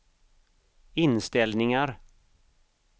inställningar